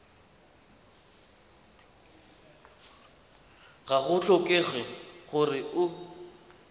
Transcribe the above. ga go tlhokege gore o